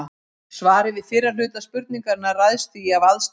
Svarið við fyrri hluta spurningarinnar ræðst því af aðstæðum.